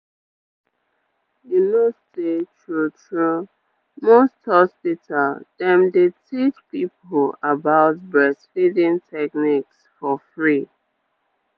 you know say true true most hospital dem dey teach people about breastfeeding techniques for free.